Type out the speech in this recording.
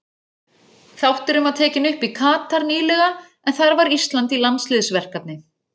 Þátturinn var tekinn upp í Katar nýlega en þar var Ísland í landsliðsverkefni.